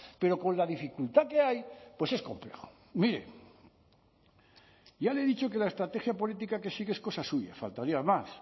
pero con la dificultad que hay pues es complejo mire ya le he dicho que la estrategia política que sigue es cosa suya faltaría más